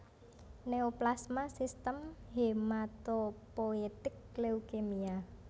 Neoplasma Sistem Hematopoietik Leukemia